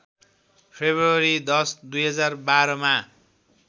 February १० २०१२‎ मा